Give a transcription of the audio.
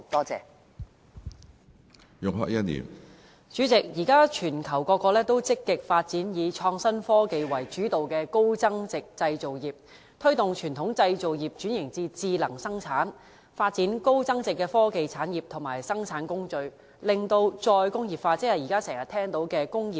主席，現時全球各國均積極發展以創新科技為主導的高增值製造業，推動傳統製造業轉至智能生產，發展高增值的科技產業和生產工序，進行"再工業化"，即現時經常聽到的"工業 4.0"。